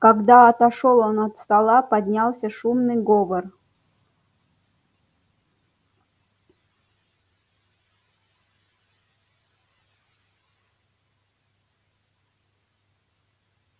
когда отошёл он от стола поднялся шумный говор